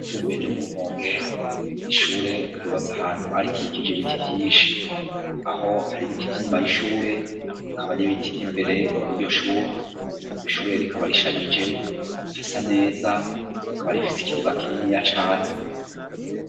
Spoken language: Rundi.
Itumbuye ryo murumonge nishure yubatse ahantu barikikije ibiti vyinshi aho hari ibiti vy'inyuma y'ishure kaba n'ibiti vy'imbere iryo shuri yo ishurure rikaba rishajije ta sa neza rikaba rifise ikibuga kinini ya cane.